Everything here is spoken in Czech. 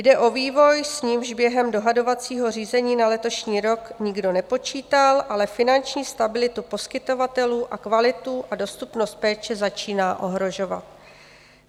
Jde o vývoj, s nímž během dohadovacího řízení na letošní rok nikdo nepočítal, ale finanční stabilitu poskytovatelů a kvalitu a dostupnost péče začíná ohrožovat.